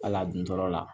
Wala dun tɔɔrɔ la